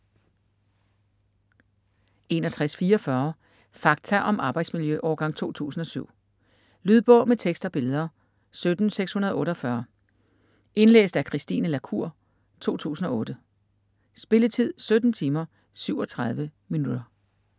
61.44 Fakta om arbejdsmiljø: årgang 2007 Lydbog med tekst og billeder 17648 Indlæst af Christine La Cour, 2008. Spilletid: 17 timer, 37 minutter.